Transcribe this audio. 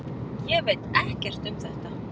Ég veit ekkert um þetta.